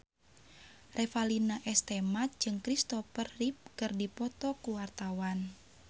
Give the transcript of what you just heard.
Revalina S. Temat jeung Christopher Reeve keur dipoto ku wartawan